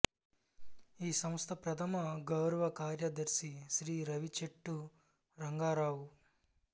ఈ సంస్థ ప్రథమ గౌరవ కార్యదర్శి శ్రీ రావిచెట్టు రంగారావు